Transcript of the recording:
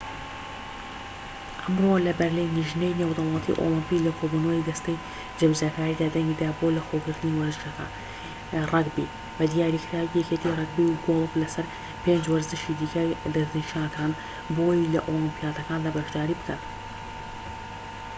ئەمڕۆ لەبەرلین لیژنەی نێودەوڵەتی ئۆڵمپی لە کۆبوونەوەی دەستەی جێبەجێکاریدا دەنگی دا بۆ لەخۆگرتنی وەرزشەکە ڕەگبی بە دیاریکراوی یەکێتی ڕەگبی و گۆڵف لەسەر پێنج وەرزشی دیکە دەستنیشانکران بۆ ئەوەی لە ئۆلیمپیاتەکاندا بەشداری بکەن